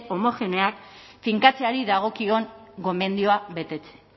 homogeneoak finkatzeari dagokion gomendioa betetzea